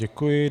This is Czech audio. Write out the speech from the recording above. Děkuji.